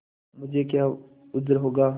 मुझे क्या उज्र होगा